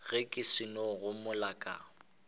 ge ke seno gomela ka